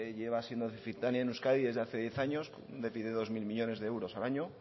lleva siendo deficitaria en euskadi desde hace diez años un déficit de dos mil millónes de euros al año